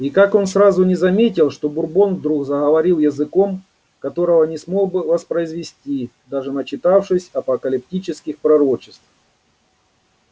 и как он сразу не заметил что бурбон вдруг заговорил языком которого не смог бы воспроизвести даже начитавшись апокалиптических пророчеств